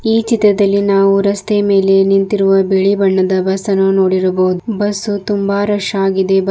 ಈ ಚಿತ್ರದಲ್ಲಿ ನಾವು ರಸ್ತೆ ಮೇಲೆ ನಿಂತಿರುವ ಬಿಳಿ ಬಣ್ಣದ ಬಸ್ ಅನ್ನು ನೋಡಿರಬಹುದು ಬಸ್ಸು ತುಂಬಾ ರಶ್ ಆಗಿದೆ ಬಸ್ --